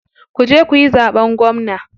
Kuje kuyi zaɓen gwamna.